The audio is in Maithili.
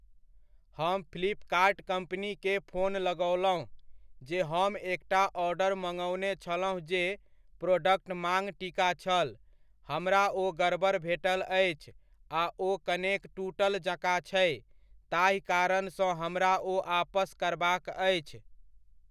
हम फ्लिपकार्ट कम्पनीकेँ फोन लगओलहुँ, जे हम एकटा ऑर्डर मङ्ओने छलहुँ जे प्रोडॅक्ट माङ टीका छल, हमरा ओ गड़बड़ भेटल अछि आ ओ कनेक टुटल जकाँ छै, ताहि कारण सँ हमरा ओ आपस करबाक अछि।